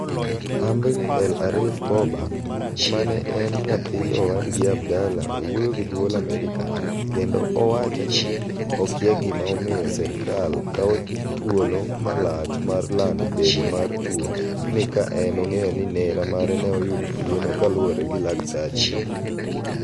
Amri El-Arif Bobah, ma en nyathi owadgi Abdallah owuoyo gi duol Amerika kendo owacha ni okia gima omiyo serkal kawo chuolo malach mar lando bedo mar tuo ni ka en ong'eyo ni nera mare ne oyudo tuwono kaluwore gi laktache.